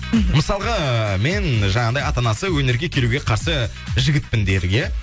мхм мысалға ыыы мен жаңағыдай ата анасы өнерге келуге қарсы жігітпін дедік иә